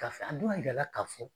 Ka fɛ ,an dun y'a yir'a la k'a fɔ